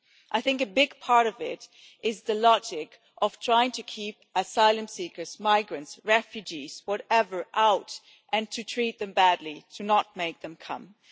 I think a big part of it is the logic of trying to keep asylum seekers, migrants, refugees, whatever, out, and treating them badly, to stop them coming.